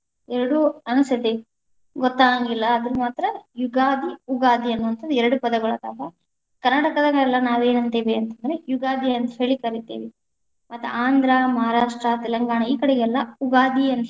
ಎರಡೂ ಅನಸ್ತೇತಿ ಗೊತ್ತಾಗೆಂಗಿಲ್ಲಾ, ಅದನ್ನ ಮಾತ್ರ ಯುಗಾದಿ ಉಗಾದಿ ಅನ್ನುವಂಥಹದ ಎರಡು ಪದಗಳದಾವ, ಕನಾ೯ಟಕದಲ್ಲೆಲ್ಲಾ ನಾವು ಏನಂತಿವಿ ಅಂತಂದ್ರ ಯುಗಾದಿ ಅಂತ ಹೇಳಿ ಕರಿತೀವಿ, ಮತ್ತ ಆಂಧ್ರ, ಮಹಾರಾಷ್ಟ್ರ, ತೆಲಂಗಾಣ ಈ ಕಡೆಗೆಲ್ಲ ಉಗಾದಿ.